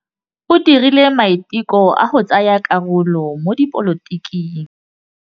O dirile maitekô a go tsaya karolo mo dipolotiking.